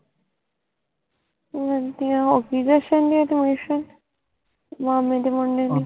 ਵਧੀਆ ਓ ਵੀ ਦਸਣਗੇ ਮਾਮੇ ਦੇ ਮੁੰਡੇ ਨੂੰ